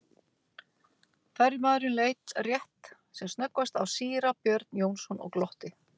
Ferjumaðurinn leit rétt sem snöggvast á síra Björn Jónsson og glotti.